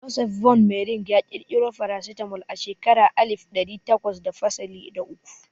Joseph von Mering ya ƙirƙiro farasitamol a shekaran alif ɗari takwas da fasalin da uku